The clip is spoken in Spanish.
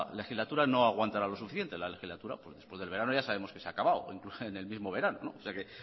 legislatura no aguantará lo suficiente la legislatura después del verano ya sabemos que se ha acabado incluso en el mismo verano o sea que